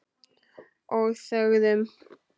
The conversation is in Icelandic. Og þögðum.